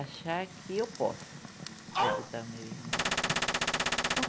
Achar que eu posso ajudar o meu irmão.